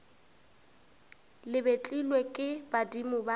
le betlilwe ke badimo ba